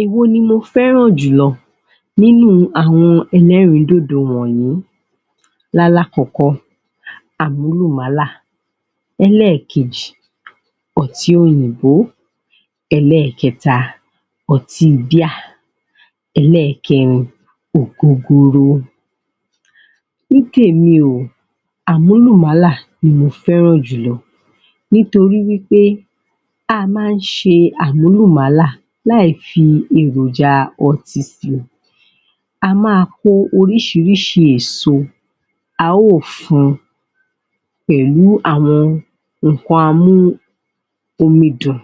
Èwo ni mo fẹ́ràn jù lọ nínú àwọn ẹlẹ́rìíndòdò wọ̀nyí lálákọ̀kọ́ àmúlùmálà ẹlẹ́ẹ̀kejì ọtí òyìnbó, ẹlẹ́ẹ̀kẹta ọti bíà ẹlẹ́ẹ̀kẹrin ògógóró Nị tèmi o, àmúlùmálà ni mo fẹ́ràn jù lọ Nítorí wí pé a máa ń ṣe àmúlùmálà láì fi èròjà ọtí sí wọn A máa hó oríṣiríṣi èso a ó fun pẹ̀lú àwọn nǹkan amudùn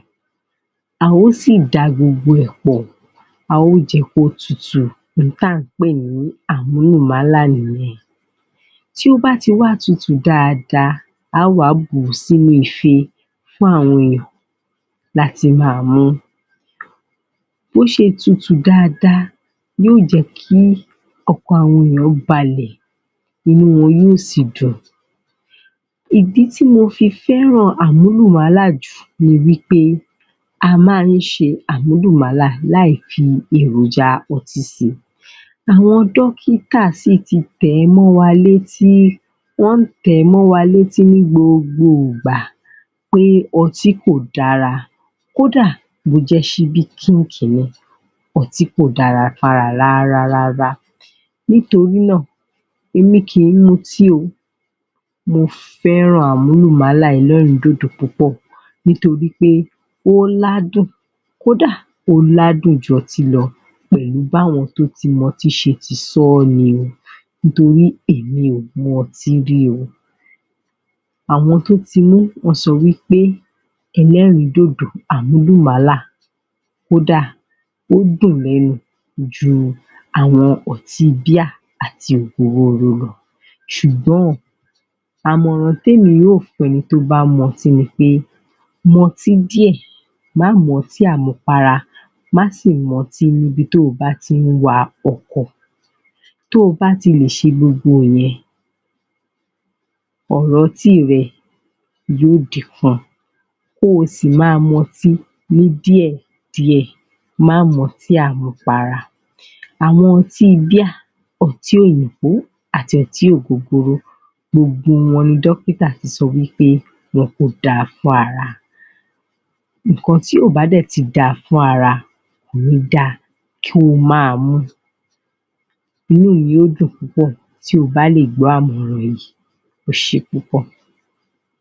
a ó sì da gbogbo ẹ̀ pọ̀, a ó jẹ́ kó tutù ohun tí à ń pè ní àmúlùmálà nìyẹn tí ó bá tii wá tutù dáadáa a ó wá bù ú sí inú ife fún àwọn èèyàn láti máa mu. Bí ó ṣe tutù dáadáa yóò jẹ́ kí ọkàn àwọn ènìyàn balẹ̀ inú wọn yóò sì dùn Ìdí tí mo fi fẹ́ràn àmúlùmálà jù ni pé a máa ń ṣe àmúlùmálà láì fi èròjà ọtí si àwọn dọ́kítà sì ti tẹ̀ ẹ́ mọ́ wa létí, wọ́n ń tẹ̀ ẹ́ mọ́ wa létí ní gbogbo ìgbà pé ọtí kò dára kó dà, bí ó jẹ́ ṣíbí kínkiní ọtí kò dára fún ara rárárárá nítorí náà èmi kì í mutí o Mo fẹ́ràn àmúlùmálà ẹlẹ́rìídòdò púpọ̀ nítorí pé ó ládùn kó dà, ó ládùn ju ọtí lọ pẹ̀lú bí àwọn tó ti mu ọtí ṣe ti sọ́ ni o nítorí èmi ò mu ọtí rií o Àwọn tó ti mú wọ́n sọ wí pé ẹlẹ́rìíndòdò àmúlùmálà ó dáa ó dùn lẹ́nu ju ọtí bíà àti ògógóró lọ ṣùgbọ́n, àmọ̀ràn tí èmi yóò fún àwọn tó bá ń mu ọtí ni pé mú ọtí díẹ̀, má mu ọtí àmupara, má sì mu ọtí níbi tí o bá ti ń wa ọkọ̀ tí o bá ti lè ṣe gbogbo ìyẹn ọ̀rọ̀ ọtí rẹ yóò dín kù kí o sì máa mu ọtí ní díẹ̀díẹ̀ má mu ọtí àmupara, àwọn ọtí bíà, ọtí òyìnbó àti ọtí ògógóró gbogbo wọn ni dọ́kítà ti sọ wí pé wọn kò da fún ara nǹkan tí kò bá dẹ̀ ti da fún ara kò ní da kí o máa mú inú mi yóò dùn púpọ̀ tí o bá lè gbọ́ àmọ̀ràn yìí ẹ ṣe púpọ̀